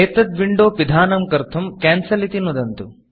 एतत् Windowविण्डो पिधानं कर्तुं Cancelकेन्सिल् इति नुदन्तु